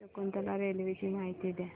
Shakuntala railway ची माहिती द्या